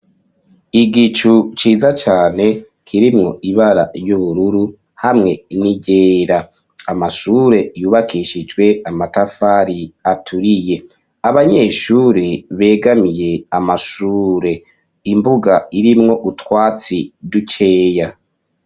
Igicu ciza cane, kirimwo ibara y'ubururu ,hamwe n'iryera, Amashure yubakishijwe Amatafari aturiye ,Abanyeshuri begamiye Amashure ,imbuga irimwo utwatsi dukeya.